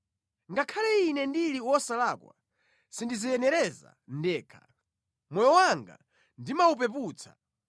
“Ngakhale ine ndili wosalakwa, sindidziyenereza ndekha; moyo wanga ndimawupeputsa.